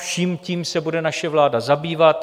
Vším tím se bude naše vláda zabývat.